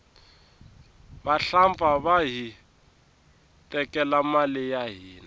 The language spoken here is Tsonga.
vahlampfa vahi tekela mali ya hina